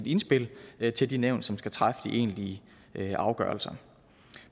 indspil til de nævn som skal træffe de egentlige afgørelser